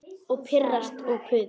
Og pirrast og puða.